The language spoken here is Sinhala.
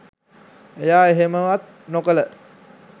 එයා එහෙමවත් නොකල